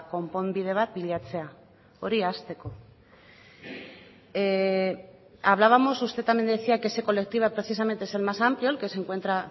konponbide bat bilatzea hori hasteko hablábamos usted también decía que ese colectivo precisamente es el más amplio el que se encuentra